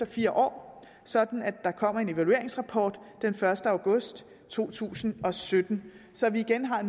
fire år sådan at der kommer en evalueringsrapport den første august to tusind og sytten så vi igen har